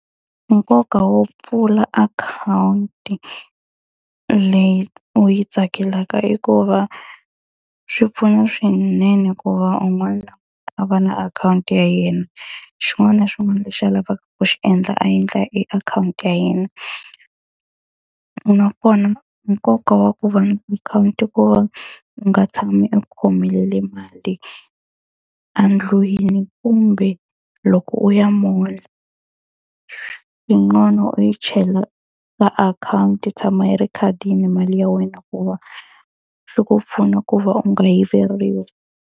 Nkoka wo pfula akhawunti leyi u yi tsakelaka i ku va swi pfuna swinene ku va un'wana a va na akhawunti ya yena, xin'wana na xin'wana lexi a lavaka ku xi endla a endla hi akhawunti ya yena. Nakona nkoka wa ku va na akhawunti i ku va u nga tshami u khomelele mali endlwini kumbe loko u ya mall, yin'wana u yi chela ka akhawunti yi tshama yi ri ekhadini mali ya wena hikuva swi ku pfuna ku va u nga yiveriwi.